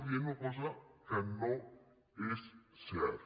dient una cosa que no és certa